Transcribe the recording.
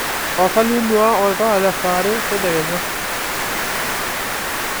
tapasali inua oltuala lesaa are tedekenya